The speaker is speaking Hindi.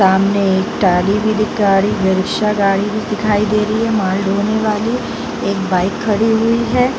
सामने एक ट्राली भी दिखा ट्राली रिक्सा गाड़ी भी दिखाई दे रही है माल धोने वाली | एक बाइक खड़ी हुई है |